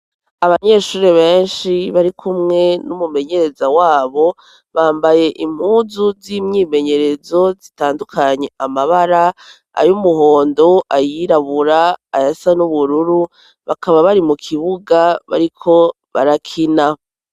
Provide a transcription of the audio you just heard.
Abanyeshuri benshi bari kumwe n'umumenyereza wabo bambaye impuzu z'imyimenyerezo zitandukanye amabara ayo umuhondo ayirabura aya sa n'ubururu bakaba bari mu kibuga bari ko barakina.